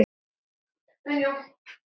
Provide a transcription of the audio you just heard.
Hér er auðvelt að týnast.